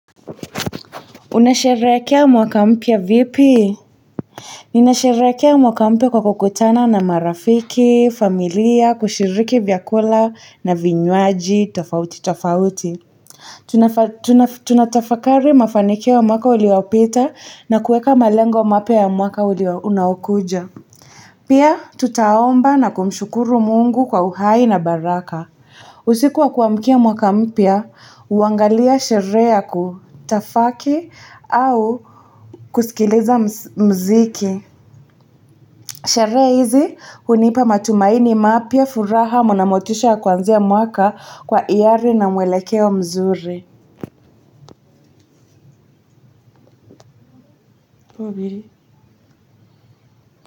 Unasherehekea mwaka mpya vipi ninasherekea mwaka mpya kwa kukutana na marafiki familia kushiriki vyakula na vinywaji tofauti tofauti tunatafakari mafanikio ya mwaka uliopita na kueka malengo wa mapya ya mwaka unaokuja pia tutaomba na kumshukuru Mungu kwa uhai na baraka usiku wa kuamkia mwaka mpya huangalia sherehe ya kutafaki au kusikiliza muziki sherehe hizi hunipa matumaini mapya furaha na motisha ya kuanzia mwaka kwa hiari na mwelekeo mzuri.